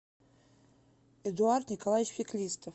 эдуард николаевич феклистов